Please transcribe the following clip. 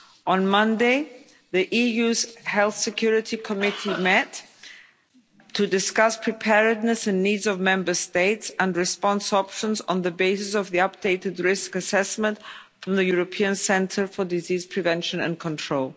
On Monday the EU's Health Security Committee met to discuss preparedness and needs of Member States and response options on the basis of the updated risk assessment from the European Centre for Disease Prevention and Control.